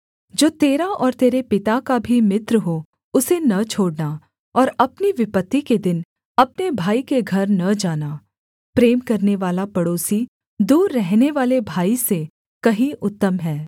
जो तेरा और तेरे पिता का भी मित्र हो उसे न छोड़ना और अपनी विपत्ति के दिन अपने भाई के घर न जाना प्रेम करनेवाला पड़ोसी दूर रहनेवाले भाई से कहीं उत्तम है